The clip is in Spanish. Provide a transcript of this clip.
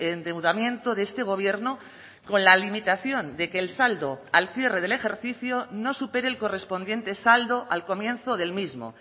endeudamiento de este gobierno con la limitación de que el saldo al cierre del ejercicio no supere el correspondiente saldo al comienzo del mismo